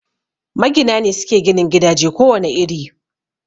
Magina ne suke ginin gidaje ko wane iri